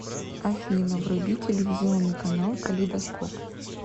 афина вруби телевизионный канал калейдоскоп